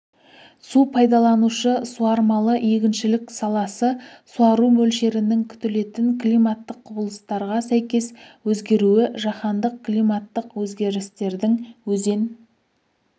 су пайдаланушы-суармалы егіншілік саласы суару мөлшерінің күтілетін климаттық құбылыстарға сәйкес өзгеруі жаһандық климаттық өзгерістердің өзен